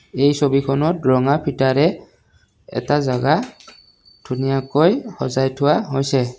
এই ছবিখনত ৰঙা ফিটাৰে এটা জেগা ধুনীয়াকৈ সজাই থোৱা হৈছে।